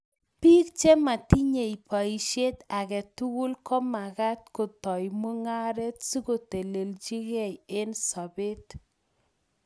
Bik chematinye baishet age tugul komagat kotoi mung'aret sikoteleljikei eng sobet